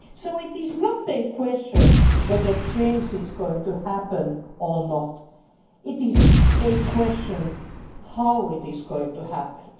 It is not a question whether change is going to happen or not it is a question of how it is going to happen.